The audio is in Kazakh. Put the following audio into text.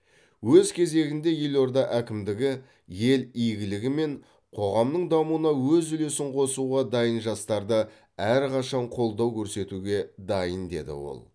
өз кезегінде елорда әкімдігі ел игілігі мен қоғамның дамуына өз үлесін қосуға дайын жастарды әрқашан қолдау көрсетуге дайын деді ол